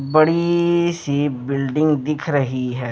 बड़ीीीी सी बिल्डिंग दिख रही है।